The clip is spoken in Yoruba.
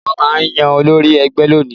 Wọ́n máa yan olórí ẹgbẹ́ lónìí